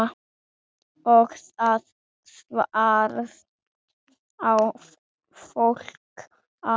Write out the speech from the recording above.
Og það þvert á flokka.